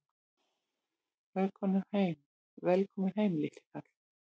Velkominn heim, litli kall!